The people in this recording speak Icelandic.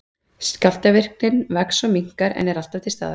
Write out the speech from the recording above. Skjálftavirknin vex og minnkar, en er alltaf til staðar.